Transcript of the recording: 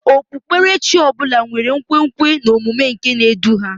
Okpukpere chi ọ bụla nwere nkwenkwe na omume nke na-edu ha